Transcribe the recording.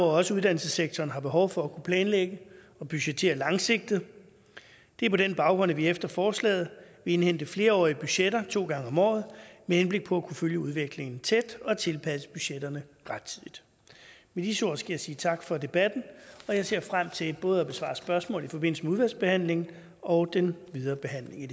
også uddannelsessektoren har behov for at kunne planlægge og budgettere langsigtet det er på den baggrund at vi efter forslaget vil indhente flerårige budgetter to gange om året med henblik på kunne følge udviklingen tæt og tilpasse budgetterne rettidigt med disse ord skal jeg sige tak for debatten og jeg ser frem til både at besvare spørgsmål i forbindelse med udvalgsbehandlingen og den videre behandling i